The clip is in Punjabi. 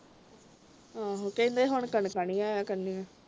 ਆਹੋ ਕਹਿੰਦੇ ਹੁਣ ਕਣਕਾਂ ਨਹੀਂ ਆਇਆ ਕਰਨਗੀਆਂ